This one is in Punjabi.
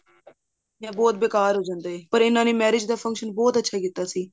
ਬਹੁਤ ਬੇਕਾਰ ਹੋ ਜਾਂਦਾ ਹੈ ਓਰ ਇਹਨਾ ਨੇ marriage ਦਾ function ਅੱਛਾ ਕੀਤਾ ਸੀ